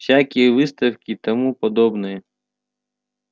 всякие выставки и тому подобное